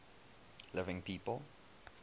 living people